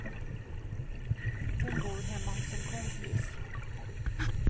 Hon bor hemma hos en kompis.